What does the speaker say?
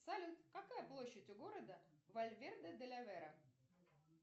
салют какая площадь у города вальверде де ла вера